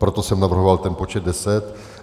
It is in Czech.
Proto jsem navrhoval ten počet deset.